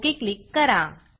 okay click करा